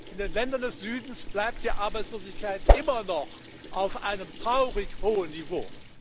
In den Ländern des Südens bleibt die Arbeitslosigkeit immer noch auf einem traurig hohen Niveau.